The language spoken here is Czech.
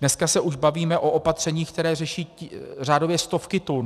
Dnes se už bavíme o opatřeních, která řeší řádově stovky tun.